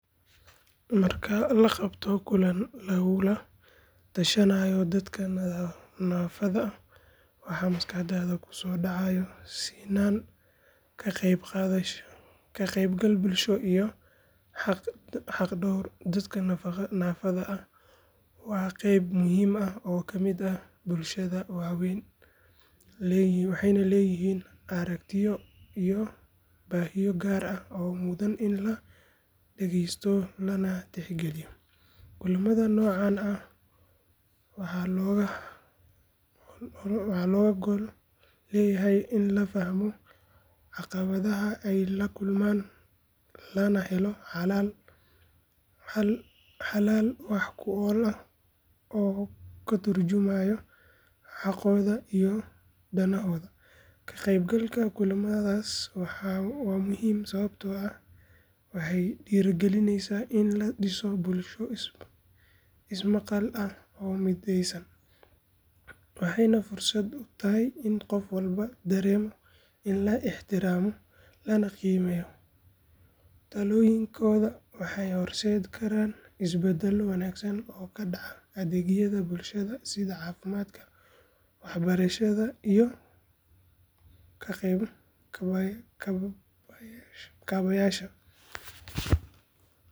Marka la qabto kulan lagula tashanayo dadka naafada ah waxa maskaxdaada ku soo dhacaya sinnaan, ka qaybgal bulsho iyo xaq-dhowr. Dadka naafada ah waa qeyb muhiim ah oo ka mid ah bulshada waxayna leeyihiin aragtiyo iyo baahiyo gaar ah oo mudan in la dhegeysto lana tixgeliyo. Kulamada noocan ah waxaa looga gol leeyahay in la fahmo caqabadaha ay la kulmaan lana helo xalal wax ku ool ah oo ka turjumaya xaqooda iyo danahooda. Ka qaybgalka kulamadaas waa muhiim sababtoo ah waxay dhiirrigelisaa in la dhiso bulsho ismaqal ah oo midaysan, waxayna fursad u tahay in qof walba dareemo in la ixtiraamayo lana qiimeynayo. Talooyinkooda waxay horseedi karaan isbeddel wanaagsan oo ka dhaca adeegyada bulshada sida caafimaadka, waxbarashada iyo kaabayaasha.